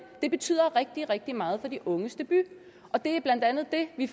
det betyder rigtig rigtig meget for de unges debut og det er blandt andet det vi